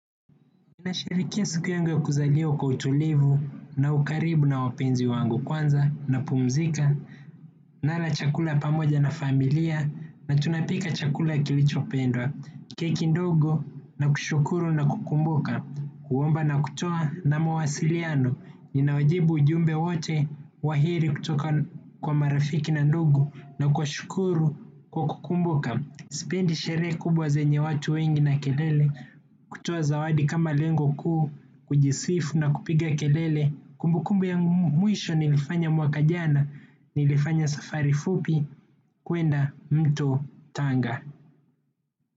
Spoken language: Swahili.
Ninasherehelea siku yangu ya kuzaliwa kwa utulivu na ukaribu na wapenzi wangu, kwanza napumzika, nala chakula pamoja na familia na tunapika chakula kilichopendwa, keki ndogo, na kushukuru na kukumbuka, kuomba na kutoa na mawasiliano, ninawajibu ujumbe wote wa heri kutoka kwa marafiki na ndugu na kuwashukuru kwa kukumbuka. Sipendi sherehe kubwa zenye watu wengi na kelele, kutoa zawadi kama lengo kuu, kujisifu na kupiga kelele. Kumbukumbu ya mwisho nilifanya mwaka jana, nilifanya safari fupi kwenda mto Tanga.